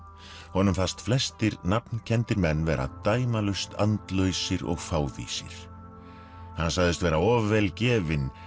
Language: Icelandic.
honum fannst flestir menn vera dæmalaust andlausir og fávísir hann sagðist vera of vel gefinn